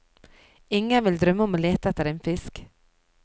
Ingen vil drømme om å lete etter en fisk!